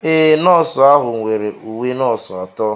Ee, Nọọsụ ahụ nwere uwe nọọsụ atọ.